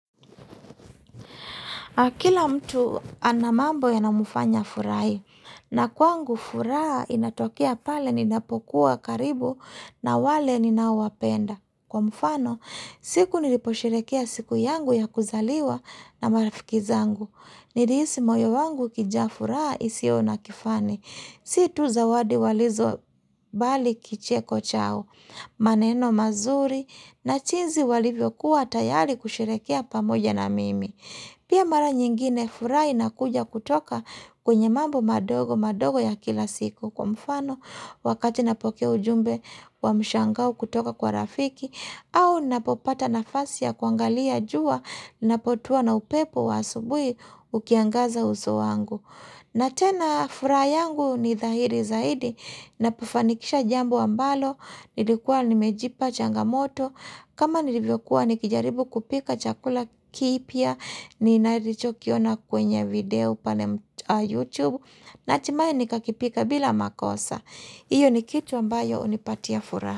Akila mtu anamambo ya namufanya furai. Na kwangu furaa inatokea pale ninapokuwa karibu na wale ninawapenda. Kwa mfano, siku niliposherekea siku yangu ya kuzaliwa na marafikizangu. Niliisi moyo wangu kijafura isio na kifani. Situ zawadi walizo bali kicheko chao. Maneno mazuri na chinzi walivyo kuwa tayari kusherekea pamoja na mimi. Pia mara nyingine furai na kuja kutoka kwenye mambo madogo madogo ya kila siku kwa mfano wakati napokea ujumbe wa mshangau kutoka kwa rafiki au napopata nafasia kuangalia jua napotua na upepo wa asubui ukiangaza uso wangu. Na tena fura yangu ni dhahiri zaidi, napufanikisha jambu ambalo, nilikuwa nimejipa changamoto, kama nilivyokuwa nikijaribu kupika chakula kipia, ni naricho kiona kwenye video pane YouTube, na timaye nikakipika bila makosa. Iyo ni kitu ambayo unipatia furaa.